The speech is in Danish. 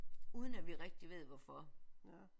Uden at vi rigtig ved hvorfor